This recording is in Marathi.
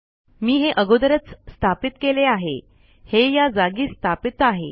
मी हे अगोदरच स्थापित केले आहे हे या जागी स्थापित आहे